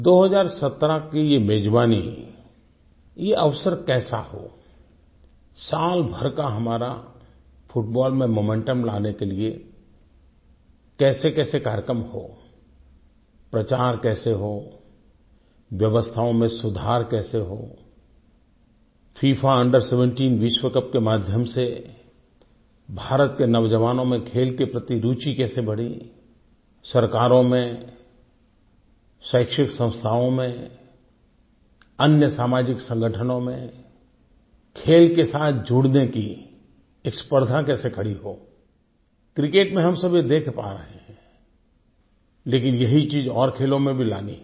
2017 की ये मेज़बानी ये अवसर कैसा हो साल भर का हमारा फुटबॉल में मोमेंटम लाने के लिए कैसेकैसे कार्यक्रम हो प्रचार कैसे हो व्यवस्थाओं में सुधार कैसे हो फिफा अंडर 17 विश्वकप के माध्यम से भारत के नौजवानों में खेल के प्रति रूचि कैसे बढ़े सरकारों में शैक्षिक संस्थाओं में अन्य सामाजिक संगठनों में खेल के साथ जुड़ने की स्पर्धा कैसे खड़ी हो क्रिकेट में हम सभी देख पा रहे हैं लेकिन यही चीज़ और खेलों में भी लानी है